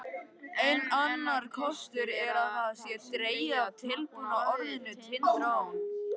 Enn annar kostur er að það sé dregið af tilbúna orðinu Tind-trón.